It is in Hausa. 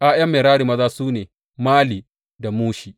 ’Ya’yan Merari maza su ne, Mali da Mushi.